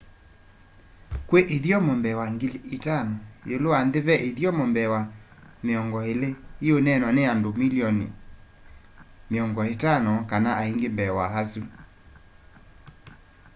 kwi ithyomo mbee wa 5,000 iulu wa nthi ve ithyomo mbee wa 20 iuneenwa ni andu mililion 50 kana ainge mbee wa asu